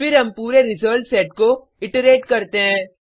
फिर हम पूरे रिजल्ट सेट को इट्रेट करते हैं